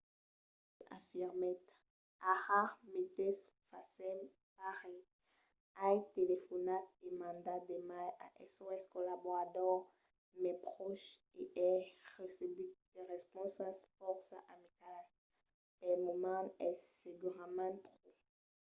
danius afirmèt: ara meteis fasèm pas res. ai telefonat e mandat d'emails a sos collaboradors mai pròches e ai recebut de responsas fòrça amicalas. pel moment es segurament pro.